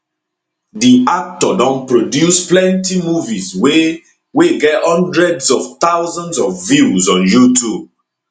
di actor don produce plenty movies wey wey get hundreds of thousands of views on youtube